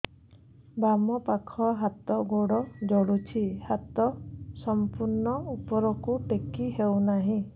ବାମପାଖ ହାତ ଗୋଡ଼ ଜଳୁଛି ହାତ ସଂପୂର୍ଣ୍ଣ ଉପରକୁ ଟେକି ହେଉନାହିଁ